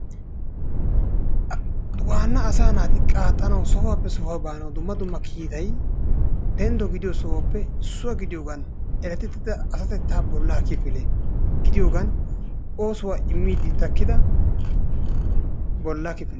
Waanna asaa naati sohuwaappe sohuwaa baanawu dumma dumma kiitay denddo gidiyoo sohuwaappe issuwaa gidiyoogan erettida asatettaa bollaa kifile gidiyoogan oosuwaa imiidi takkida bolla kifile.